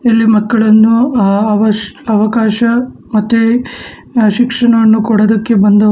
ಇಲ್ಲಿ ಮಕ್ಕಳನ್ನು ಅ ಅವಶ್ಯ ಅವಕಾಶ ಮತ್ತೆ ಶಿಕ್ಷಣವನ್ನು ಕೊಡೊದಕ್ಕೆ ಬಂದವರು.